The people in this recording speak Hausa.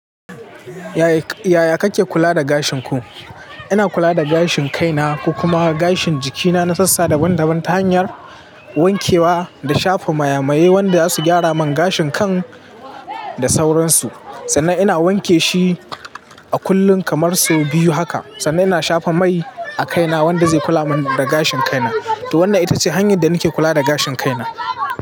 Yaya kake kula da gashin ku? Ina kula da gashin kai na, ko kuma gashin jikina na sassa daban-daban ta hanyar wankewa, da shafa maya-maye wanda su gyara min gashin kan, da sauransu. Sannan ina wanke shi a kullum kamar sau biyu haka. Sannan ina shafa mai a kaina wanda zai kula min da gashin kaina. To wannan ita ce hanyar da nake kula da gashin kaina.